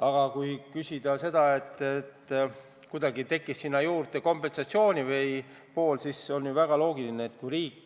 Aga kui küsida selle kohta, et kuidas tekkis sinna juurde kompensatsiooni pool, siis on ju väga loogiline, et kui riik